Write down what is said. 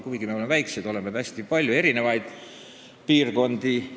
Kuigi me oleme väikesed, on Eestimaal hästi palju erinevaid piirkondi.